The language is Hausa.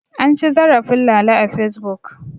An ci zarafin Lala a Fesbuk.